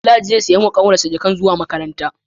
Danladi zai siya wa kanwar shi jakar zuwa makaranta